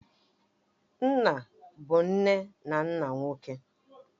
Nna bụ nne na nna nwoke.